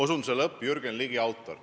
" Autor on Jürgen Ligi.